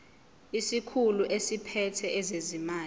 isikhulu esiphethe ezezimali